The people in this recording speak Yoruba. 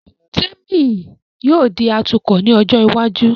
Témì yóò di atukọ̀ ní ọjọ́ iwájú